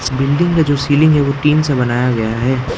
Building का जो ceiling है वो टीन से बनाया गया है।